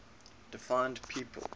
deified people